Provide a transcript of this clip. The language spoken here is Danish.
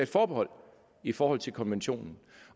forbehold i forhold til konventionen